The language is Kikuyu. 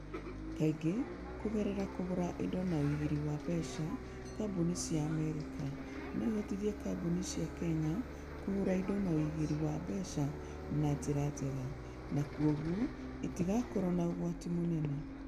Kaingĩ kũgerera kũgũra indo na ũigĩri wa mbeca, kambuni cia Amerika no ihotithie kambuni cia Kenya kũgũra indo na ũigĩri wa mbeca na njĩra njega, na kwoguo itigakorũo na ũgwati mũnene.